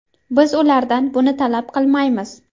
Biz ulardan buni talab qilmaymiz.